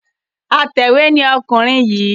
Atẹ̀wé ni ọkùnrin yìí.